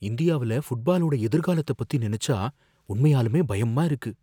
இந்தியாவில ஃபுட்பாலோட எதிர்காலத்த பத்தி நினைச்சா உண்மையாலுமே பயமா இருக்கு.